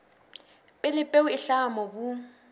pele peo e hlaha mobung